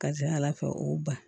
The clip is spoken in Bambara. Ka ca ala fɛ o ba